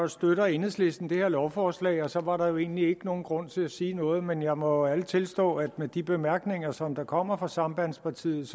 støtter enhedslisten det her lovforslag og så var der jo egentlig ikke nogen grund til at sige noget men jeg må ærligt tilstå at med de bemærkninger som kommer fra sambandspartiet